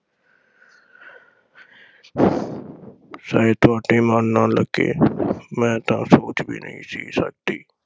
ਸ਼ਾਇਦ ਤੁਹਾਡੇ ਮਨ ਨਾ ਲੱਗੇ ਮੈਂ ਤਾਂ ਸੋਚ ਵੀ ਨਹੀਂ ਸੀ ਸਕਦੀ।